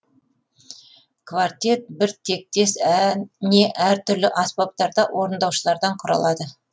квартет бір тектес не әртүрлі аспаптарда орындаушылардан құралады